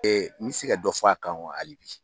mi se ka dɔ fɔ a kan wa hali bi.